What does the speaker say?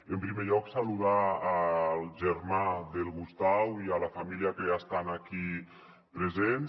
en primer lloc saludar el germà del gustau i la família que estan aquí presents